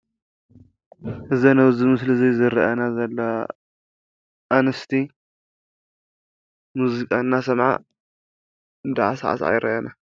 እዘን አብዚ ምስሊ እዚ ዝረእየና ዘሎዋ አንስቲ ሙዚቃ እናሰምዓ እናሳዕሰዓ ይረአያ ኣለዋ።